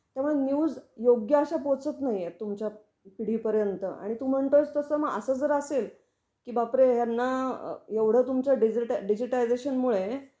तेंव्हा न्यूज योग्य अश्या पोचत नाही आहे तुमच्या पिढी पर्यंत. आणि तू म्हणतो आहे तसं मग असं जर असेल कि बापरे यांना एवढ तुमच डिजिटॅलायझेशनमुळे